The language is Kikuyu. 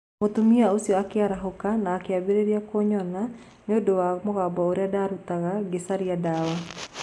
Mũtumia ũcio akĩarahũka na akĩambĩrĩria kũnyona nĩ ũndũ wa mũgambo ũrĩa ndaarutaga ngĩcaria ndawa.